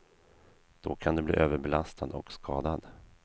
Då kan du bli överbelastad och skadad.